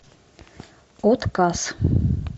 отказ